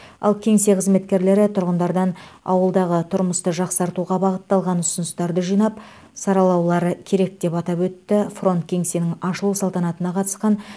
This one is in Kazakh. ал кеңсе қызметкерлері тұрғындардан ауылдағы тұрмысты жақсартуға бағытталған ұсыныстарды жинап саралаулары керек деп атап өтті фронт кеңсенің ашылу салтанатына қатысқан